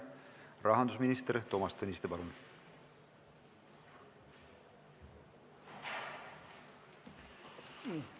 Rahandusminister Toomas Tõniste, palun!